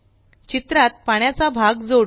चित्रात पाण्याचा भाग जोडू